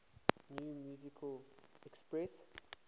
new musical express